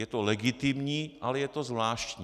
Je to legitimní, ale je to zvláštní.